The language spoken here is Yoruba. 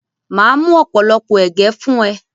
Màá mú ọ̀pọ̀lọpọ̀ ẹ̀gẹ́ fún ẹ.